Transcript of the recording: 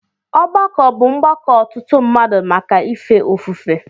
Ọgbako bụ Mgbako ọtụtụ mmadụ màkà ife ofufe.